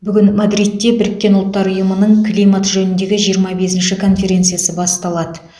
бүгін мадридте біріккен ұлттар ұйымының климат жөніндегі жиырма бесінші конференциясы басталады